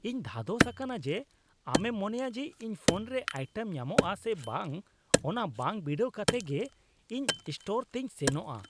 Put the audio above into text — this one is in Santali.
ᱤᱧ ᱫᱷᱟᱫᱚᱥ ᱟᱠᱟᱱᱟ ᱡᱮ ᱟᱢᱮᱢ ᱢᱚᱱᱮᱭᱟ ᱡᱮ ᱤᱧ ᱯᱷᱳᱱ ᱨᱮ ᱟᱭᱴᱮᱢ ᱧᱟᱢᱚᱜᱼᱟ ᱥᱮ ᱵᱟᱝ ᱚᱱᱟ ᱵᱟᱝ ᱵᱤᱰᱟᱹᱣ ᱠᱟᱛᱮᱜ ᱜᱮ ᱤᱧ ᱥᱴᱚᱨ ᱛᱮᱧ ᱥᱮᱱᱚᱜᱼᱟ ᱾